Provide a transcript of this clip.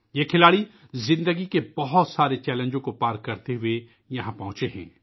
یہ کھلاڑی زندگی کے بہت سے چیلنجوں کا سامنا کرتے ہوئے یہاں تک پہنچے ہیں